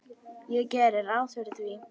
Ég geri ráð fyrir því.